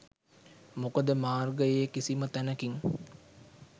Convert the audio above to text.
මොකද මාර්ගයේ කිසිම තැනකින්